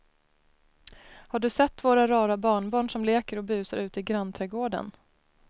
Har du sett våra rara barnbarn som leker och busar ute i grannträdgården!